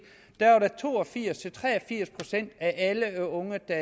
to og firs til tre og firs procent af alle unge der